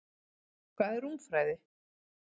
Hvað er rúmfræði?